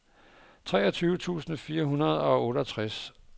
treogtyve tusind fire hundrede og otteogtres